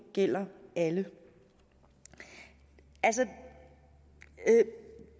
gælder alle altså i